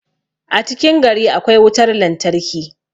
a cikin gari akwai wutar lantarki